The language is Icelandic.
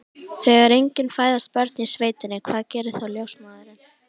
Þegar engin fæðast börnin í sveitinni, hvað gerir þá ljósmóðirin?